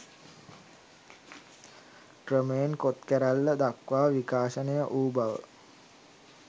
ක්‍රමයෙන් කොත් කැරැල්ල දක්වා විකාශනය වූ බව